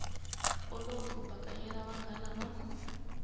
olovi ku bakanyela vanghana va